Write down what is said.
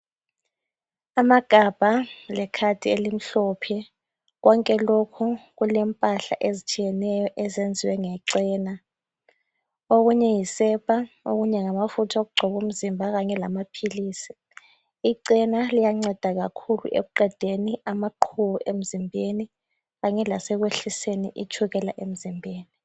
Amagabha lekhadi elimhlophe. Konke lokhu kulempahla ezitshiyeneyo ezenziwe ngecena, okunye yisepa okunye ngamafutha okugcoba umzimba kanye lamaphilisi. Icena liyanceda kakhulu ekuqedeni amaqhubu emzimbeni kanye lasekwehliseni itshukela emzimbeni.